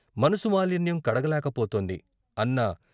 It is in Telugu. మనసు మాలిన్యం కడగలేక పోతోంది అన్న.